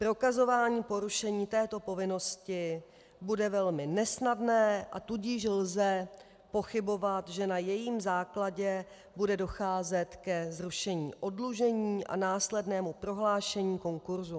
Prokazování porušení této povinnosti bude velmi nesnadné, a tudíž lze pochybovat, že na jejím základě bude docházet ke zrušení oddlužení a následnému prohlášení konkurzu.